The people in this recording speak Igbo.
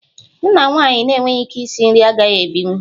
M na nwaanyị na-enweghị ike isi nri agaghị ebinwu